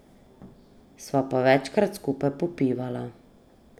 Sva pa večkrat skupaj popivala.